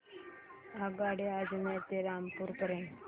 आगगाडी अजमेर ते रामपूर पर्यंत